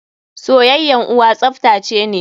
Soyayyan uwa tsaftace ne.